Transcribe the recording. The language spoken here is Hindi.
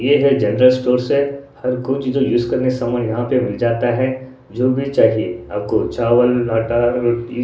ये है जनरल स्टोअर्स है। हर कोई जो लिस्ट कर ले वो सामान यहां पे मिल जाता है जो भी चाहिये आपको चावल आटा रोटी--